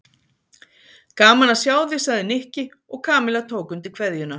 Gaman að sjá þig sagði Nikki og Kamilla tók undir kveðjuna.